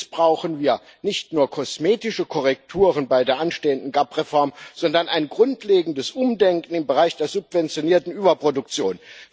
Jetzt brauchen wir nicht nur kosmetische Korrekturen bei der anstehenden GAP Reform, sondern ein grundlegendes Umdenken im Bereich der subventionierten Überproduktion.